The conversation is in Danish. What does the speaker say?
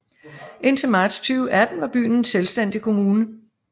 Indtil marts 2018 var byen en selvstændig kommune